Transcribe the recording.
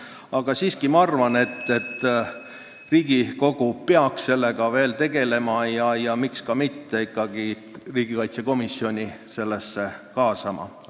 Aga ma siiski arvan, et Riigikogu peaks sellega veel tegelema ja ikkagi riigikaitsekomisjoni sellesse kaasama, miks ka mitte.